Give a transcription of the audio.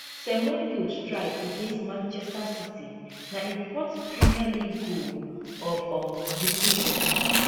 semenyo strike against manchester city na im fourth premier league goal of um di season